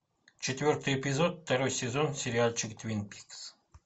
четвертый эпизод второй сезон сериальчик твин пикс